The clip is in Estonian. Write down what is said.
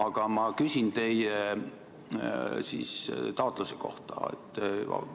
Aga ma küsin teie taotluse kohta.